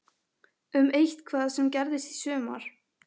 Um eitthvað sem gerðist í sumar?